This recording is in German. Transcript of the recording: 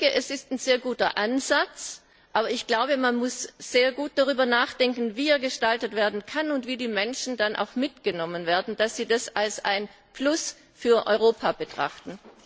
Es ist ein sehr guter Ansatz, aber ich glaube, man muss sehr gut darüber nachdenken, wie er gestaltet werden kann und wie die Menschen dann auch mitgenommen werden, damit sie das als ein Plus für Europa betrachten.